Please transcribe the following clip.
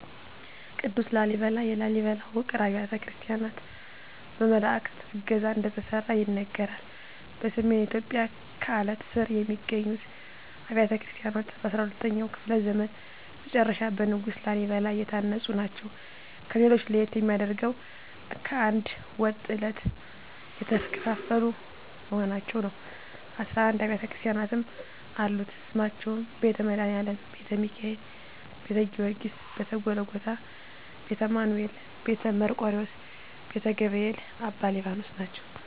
ቅዱስ ላሊበላ የላሊበላ ውቅር አብያተ ክርስቲያናት በመላዕክት ዕገዛ እንደተሠሩ ይነገራል። በሰሜን ኢትዮጵያ ከአለት ስር የሚገኙት አብያተ ክርስቲያናት በ12ኛው ክፍለ ዘመን መጨረሻ በንጉሥ ላሊበላ የታነጹ ናቸው። ከሌሎች ለየት የሚያደርገው ከአንድ ወጥ ዐለት የተፈለፈሉ መሆናቸው ነው 11 አቢያተ ክርስቲያናትም አሉት ስማቸውም ቤተ መድኃኒአለም: ቤተ ሚካኤል: ቤተ ጊዎርጊስ :ቤተ ጎልጎታ :ቤተ አማኑኤል: ቤተ መርቆሪዎስ :ቤተ ገብርኤል: አባ ሊባኖስ ናቸው